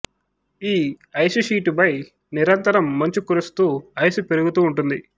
ఈ ice sheet పై నిరంతరం మంచు కురుస్తూ ఐసు పెరుగుతూ ఉంటుంది